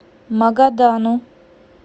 магадану